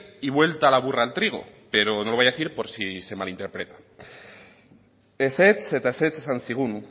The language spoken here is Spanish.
y vuelta la burra al trigo pero no lo voy a decir por si se malinterpreta ezetz eta ezetz esan zigun